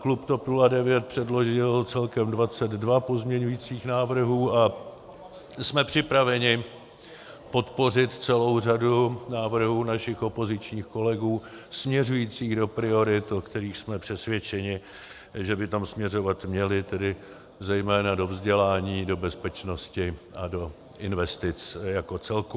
Klub TOP 09 předložil celkem 22 pozměňovacích návrhů a jsme připraveni podpořit celou řadu návrhů našich opozičních kolegů směřujících do priorit, o kterých jsme přesvědčeni, že by tam směřovat měly, tedy zejména do vzdělání, do bezpečnosti a do investic jako celku.